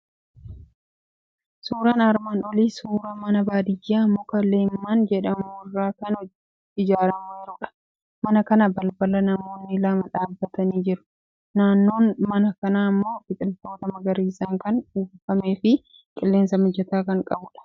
Suuraan armaan olii suuraa mana Baadiyyaa muka leemman jedhamu irraa kan ijaarameerudha. Mana kana balbala namoonni lama dhaabbatanii jiru. Naannoon mana kanaa immoo biqiltoota magariisaan kan uwwifamee fi qilleensa mijataa kan qabudha.